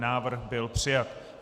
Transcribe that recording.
Návrh byl přijat.